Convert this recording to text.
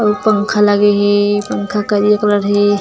अऊ पंखा लगे हे पंखा करिया कलर हे ।